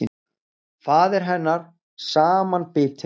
Faðir hennar samanbitinn.